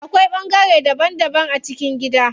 Akwai bangare daban daban a cikin gida.